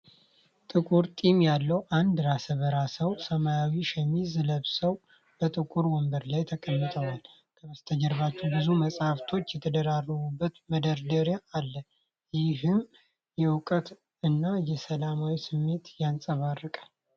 ጥቁር ጢም ያለው አንድ ራሰ በራ ሰው፣ ሰማያዊ ሸሚዝ ለብሰው በጥቁር ወንበር ላይ ተቀምጠዋል። ከበስተጀርባው ብዙ መጽሐፎች የተደረደሩበት መደርደሪያ አለ፤ ይህም የእውቀት እና የሰላም ስሜትን ያንፀባርቃል።